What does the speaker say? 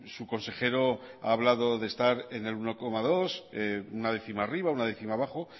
su consejero ha hablado de estar en el uno coma dos una décima arriba una décima abajo